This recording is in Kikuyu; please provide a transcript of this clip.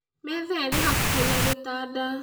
Metha ĩrĩ hakuhĩ na gĩtanda